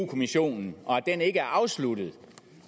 kommissionen og at den ikke er afsluttet